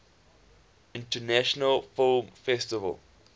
international film festival